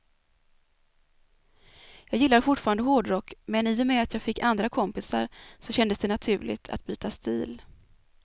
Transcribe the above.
Jag gillar fortfarande hårdrock, men i och med att jag fick andra kompisar så kändes det naturligt att byta stil.